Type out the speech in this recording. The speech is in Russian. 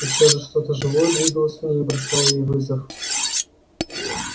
и всё же что то живое двигалось в ней и бросало ей вызов